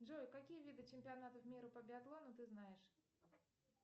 джой какие виды чемпионатов мира по биатлону ты знаешь